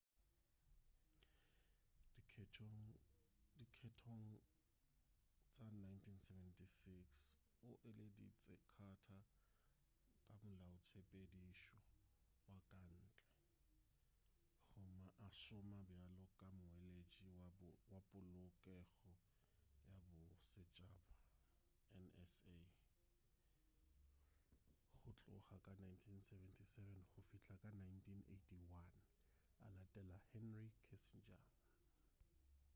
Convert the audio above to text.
dikgethong tša 1976 o eleditše carter ka molaotshepedišo wa ka ntle gomme a šoma bjalo ka moeletši wa polokego ya bosetšhaba nsa go tloga ka 1977 go fihla ka 1981 a latela henry kissinger